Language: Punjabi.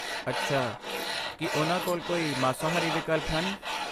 ਅੱਛਾ, ਕੀ ਉਨ੍ਹਾਂ ਕੋਲ ਕੋਈ ਮਾਸਾਹਾਰੀ ਵਿਕਲਪ ਹਨ?